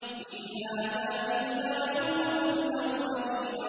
إِنْ هَٰذَا إِلَّا خُلُقُ الْأَوَّلِينَ